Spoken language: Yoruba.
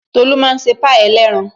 Tolu máa ṣe pie ẹlẹ́ran